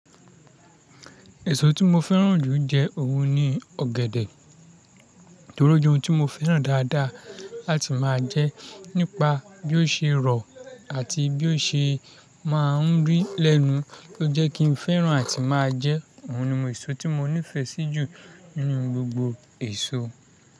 Èso tí mo fẹ́ràn jù jẹ òun ni ọ̀gẹ̀dẹ̀, torí ó jẹ́ ohun tí mo fẹ́ràn dáadáa láti máa jẹ nípa bí ó ṣe rọ̀ àti bí ó ṣe máa ń rí lẹ́nu ló jẹ́ kí n fẹ́ràn àti máa jẹ. Òun ni ohun èso tí mo nífẹ̀ẹ́ sí jù nínú gbogbo èso.